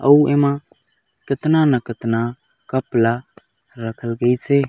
अऊ एमा कितना न कितना कप ल रखल गइसे।